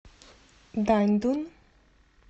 даньдун